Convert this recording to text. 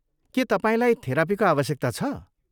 के तपाईँलाई थेरापीको आवश्यकता छ?